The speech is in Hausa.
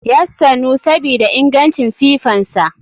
Yassanu sabida ingancin fifansa.